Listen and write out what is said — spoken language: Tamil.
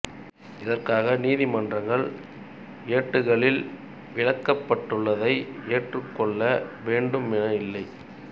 இதற்காக நீதிமன்றங்கள் ஏடுகளில் விளக்கப்பட்டுள்ளதை ஏற்றுக் கொள்ள வேண்டும் என இல்லை